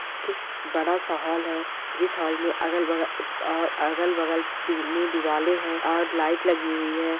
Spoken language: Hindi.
की बड़ा सा होल है जिस होल में अगल बगल अ अगल बगल पिली दिवाले है और लाइट लगी हुई है।